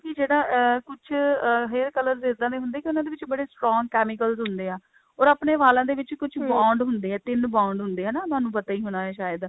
ਕਿ ਜਿਹੜਾ ਅਹ ਕੁੱਝ hair colors ਇੱਦਾਂ ਦੇ ਹੁੰਦੇ ਕਿ ਉਹਨਾ ਵਿੱਚ ਬੜੇ strong chemicals ਹੁੰਦੇ ਹੈ or ਆਪਣੇ ਵਾਲਾਂ ਦੇ ਵਿੱਚ ਕੁੱਝ bond ਹੁੰਦੇ ਹੈ ਤਿੰਨ bond ਹੁੰਦੇ ਹੈ ਹਨਾ ਉਹਨਾ ਨੂੰ ਪਤਾ ਹੀ ਹੋਣਾ ਸ਼ਾਇਦ